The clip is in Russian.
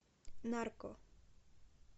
нарко